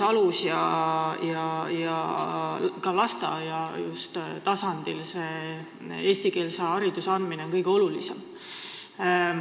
Alus- ja ka lasteaia tasandil on eestikeelse hariduse andmine on kõige olulisem.